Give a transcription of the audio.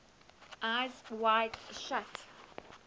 eyes wide shut